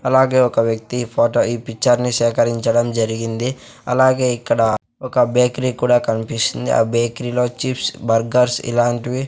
అలాగే ఒక వ్యక్తి ఈ ఫోటో ఈ పిచ్చర్ ని సేకరించడం జరిగింది అలాగే ఇక్కడ ఒక బేకరీ కూడా కన్పిస్తుంది ఆ బేకరీలో చిప్స్ బర్గర్స్ ఇలాంటి ఇలాంటివి --